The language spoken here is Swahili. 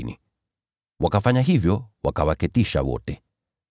Wanafunzi wakafanya hivyo, wakawaketisha wote.